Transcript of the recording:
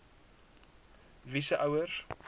wie se ouers